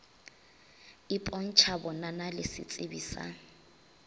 ipontšha bonana le setsebi sa